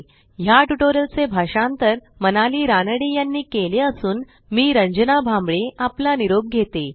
ह्या ट्युटोरियलचे भाषांतर मनाली रानडे यांनी केले असून मी रंजना भांबळे आपला निरोप घेते160